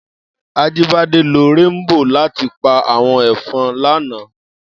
Ajibade ló ràmbó làtí pá áwòn efòn làná